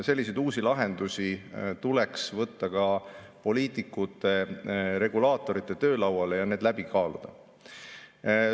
Selliseid uusi lahendusi tuleks võtta ka poliitikute regulaatorite töölauale ja need läbi kaaluda.